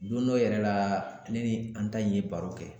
Don dɔ yɛrɛ la ne ni an ta in ye baro kɛ